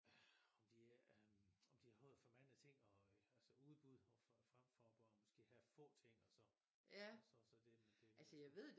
Om de øh om de har for mange ting og altså udbud fremfor og bare have få ting og så og så så det